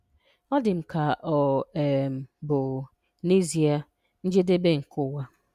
Ọ dị m ka ọ um bụ n'ezie njedebe nke ụwa.